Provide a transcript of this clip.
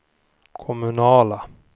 kommunala